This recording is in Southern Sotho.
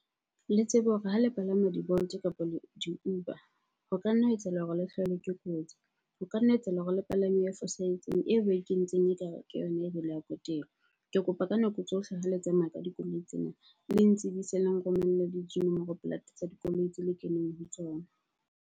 Le tsebe hore ha le palama di-Bolt kapa di-Uber, ho ka nna ha etsahala hore le hlahelwe ke kotsi. Ho ka nna etsahala hore le palame e fosahetseng eo ba ikentseng ekare ke yona . Ke kopa ka nako tsohle ha le tsamaya ka dikoloi tsena, le ntsebise le nromelle le tsa dikoloi tse le keneng ho tsona.